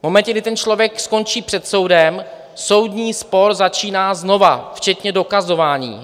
V momentě, kdy ten člověk skončí před soudem, soudní spor začíná znova včetně dokazování.